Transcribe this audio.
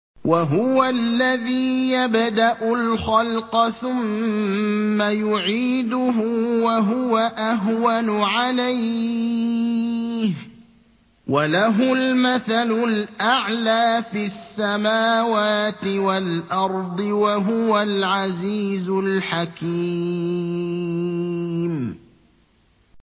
وَهُوَ الَّذِي يَبْدَأُ الْخَلْقَ ثُمَّ يُعِيدُهُ وَهُوَ أَهْوَنُ عَلَيْهِ ۚ وَلَهُ الْمَثَلُ الْأَعْلَىٰ فِي السَّمَاوَاتِ وَالْأَرْضِ ۚ وَهُوَ الْعَزِيزُ الْحَكِيمُ